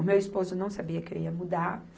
O meu esposo não sabia que eu ia mudar.